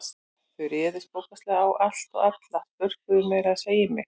Þau réðust bókstaflega á allt og alla, spörkuðu meira að segja í mig.